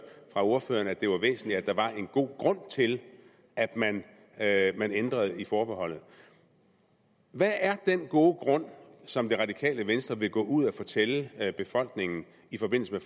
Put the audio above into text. fra ordføreren at det var væsentligt at der var en god grund til at man at man ændrede i forbeholdet hvad er den gode grund som det radikale venstre vil gå ud og fortælle befolkningen i forbindelse med